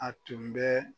A tun bɛ